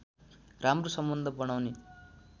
राम्रो सम्बन्ध बनाउने